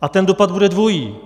A ten dopad bude dvojí.